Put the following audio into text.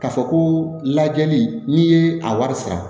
K'a fɔ ko lajɛli n'i ye a wari sara